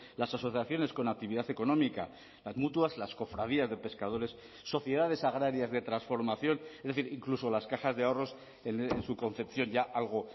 las asociaciones con actividad económica las mutuas las cofradías de pescadores sociedades agrarias de transformación es decir incluso las cajas de ahorros en su concepción ya algo